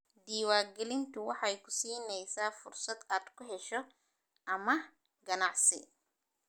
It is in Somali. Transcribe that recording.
Diiwaangelintu waxay ku siinaysaa fursad aad ku hesho amaah ganacsi.